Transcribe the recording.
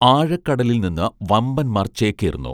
ആഴക്കടലിൽനിന്ന് വമ്പൻമാർ ചേക്കേറുന്നു